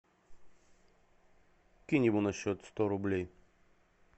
кинь ему на счет сто рублей